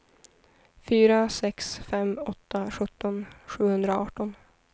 fyra sex fem åtta sjutton sjuhundraarton